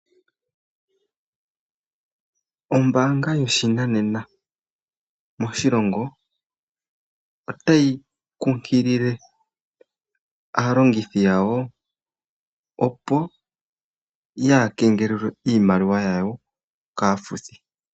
Ombaanga yoshinanena moshilongo otayi kunkilile aalongithi yayo opo yaa keengelelwe iimaliwa yawo kaafuthi.